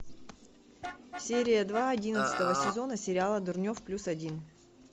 серия два одиннадцатого сезона сериала дурнев плюс один